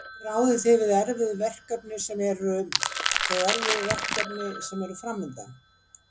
Ráðið þið við erfið verkefni sem eru, þau erfiðu verkefni sem eru framundan?